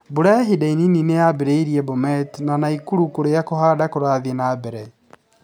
Mbura ya ihinda inini nĩ yambĩrĩirie Bomet na Nakuru kũrĩa kũhanda kũrathĩe na mbere.